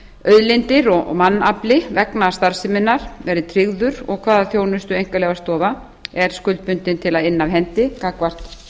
auðlindir og mannafli vegna starfseminnar verði tryggður og hvaða þjónustu einkaleyfastofa er skuldbundin til að inna af hendi gagnvart